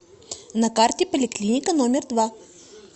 на карте поликлиника номер два